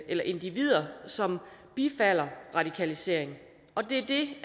eller individer som bifalder radikalisering og det er det